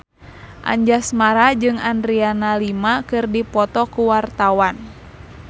Anjasmara jeung Adriana Lima keur dipoto ku wartawan